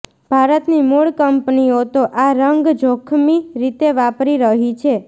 ભારતની મૂળ કંપનીઓ તો આ રંગ જોખમી રીતે વાપરી રહી છે